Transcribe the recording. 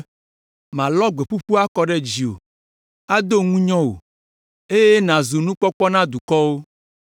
Malɔ gbeɖuɖɔ akɔ ɖe dziwò, ado ŋunyɔ wò, eye nàzu nukpɔkpɔ na dukɔwo.